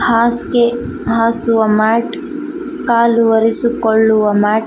ಹಾಸಿಗೆ ಹಸುವ ಮ್ಯಾಟ್ ಕಾಲು ವರಿಸಿಕೊಳ್ಳುವ ಮ್ಯಾಟ್ --